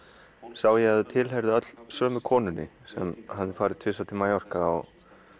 sá ég að þau tilheyrðu öll sömu konunni sem hafði farið tvisvar til Mallorca og